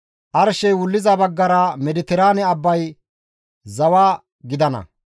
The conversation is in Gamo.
« ‹Arshey wulliza baggara Mediteraane abbay zawa gidana.